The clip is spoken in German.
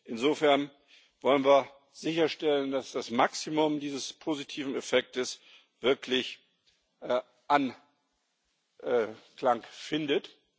Insofern wollen wir sicherstellen, dass das Maximum dieses positiven Effekts wirklich Anklang findet.